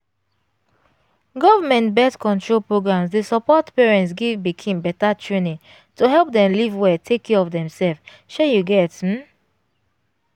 government birth-control programs dey support parents give pikin better trainingto help dem live well take care of demself shey you get um